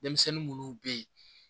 Denmisɛnnin munnu be ye